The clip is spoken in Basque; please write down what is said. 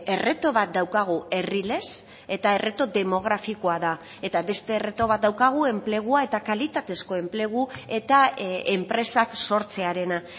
erreto bat daukagu herri lez eta erreto demografikoa da eta beste erreto bat daukagu enplegua eta kalitatezko enplegu eta enpresak sortzearena